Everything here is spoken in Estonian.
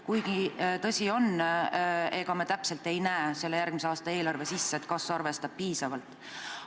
Kuigi, tõsi on, ega me täpselt ei näe selle järgmise aasta eelarve sisse, kas see arvestab seda kõike piisavalt.